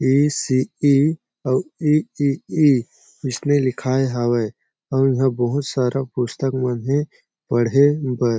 इ सी इ अउ इ इ इ अइसने लिखाय हावय आऊ उहा बहुत सारा पुस्तक मन ह हे पढ़े बर--